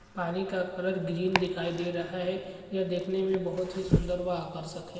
पानी का colour green दिखाई दे रहा है यह देखने में बहुत ही सुंदर व आकर्षक है।